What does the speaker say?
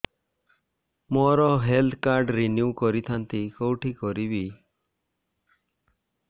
ମୋର health card renew କରିଥାନ୍ତି କୋଉଠି କରିବି